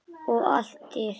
Og allt dýrt.